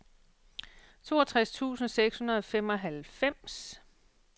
toogtres tusind seks hundrede og femoghalvfems